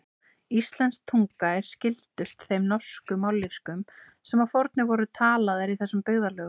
Íslensk tunga er skyldust þeim norsku mállýskum sem að fornu voru talaðar í þessum byggðarlögum.